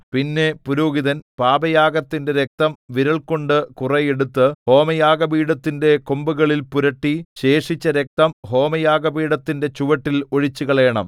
പിന്നെ പുരോഹിതൻ പാപയാഗത്തിന്റെ രക്തം വിരൽകൊണ്ട് കുറെ എടുത്ത് ഹോമയാഗപീഠത്തിന്റെ കൊമ്പുകളിൽ പുരട്ടി ശേഷിച്ച രക്തം ഹോമയാഗപീഠത്തിന്റെ ചുവട്ടിൽ ഒഴിച്ചുകളയണം